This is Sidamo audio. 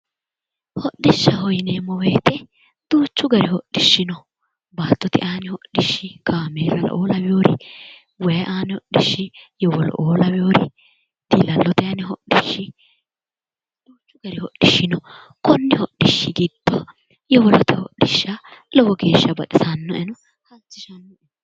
Hodishshaho yinneemmo woyte duuchu gari hodhishshi no baattote aani hodhishshi kaamellao lawinori waayi aani hodhishshi yowolo"o lawinori diilla'lote aani hodhishshi, duuchu gari hodhishshi no, koni hodhishshi giddo yowolote hodhishsha lowo geeshsha baxisanoeno, waajjishano